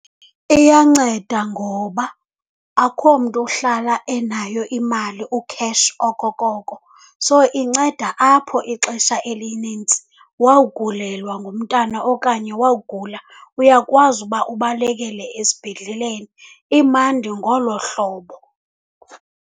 Iyanceda ngoba akhomntu uhlala enayo imali ukheshi okokoko, so inceda apho ixesha elinintsi. Wawugulelwa ngumntana okanye wawugula uyakwazi uba ubalekele esibhedleleni. Imandi ngolo hlobo.